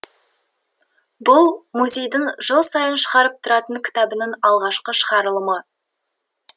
бұл музейдің жыл сайын шығарып тұратын кітабының алғашқы шығарылымы